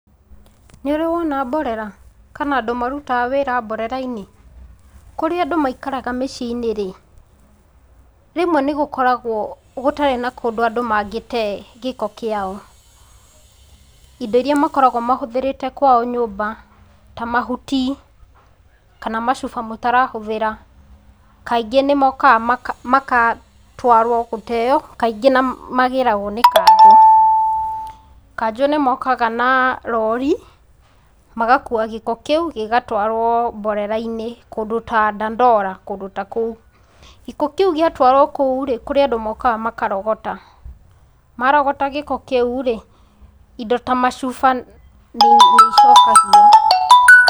Nĩ ũrĩ wona mborera kana andũ marutaga wĩra mborera-inĩ, kũrĩa andũ maikaraga mĩciĩ-inĩ rĩ, rĩmwe nĩ gũkoragwo gũtarĩ na kũndũ andũ mangĩte gĩko kĩao, indo iria makoragwo mahũthĩrĩte kwao nyũmba ta mahuti, kana macuba mũtarahũthĩra, kaingĩ nĩ mokaga magatwarwo gũteo, kaingĩ nĩ magĩragwo nĩ kanjũ, kanjũ nĩ mokaga na rori, magakua gĩko kĩu gĩgatwarwo mborera-inĩ kũndũ ta dandora, kũndũ ta kou. Gĩko kĩu gĩatwaro kou-rĩ, kũrĩ andũ mokaga makarogota, marogota gĩko kĩu-rĩ, indo ta macuba nĩ icokagio.